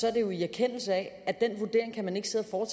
er det jo i erkendelse af at den vurdering kan man ikke sidde og